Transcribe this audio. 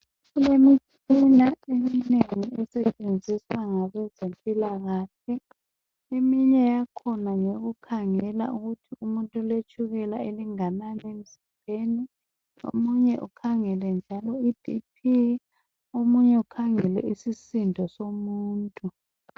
Kulemitshina encedisayo esetshenziswa ngabezempilakahle isebenza ukukhangela ibp ,eminye itshukela eminye isisindo somuntu.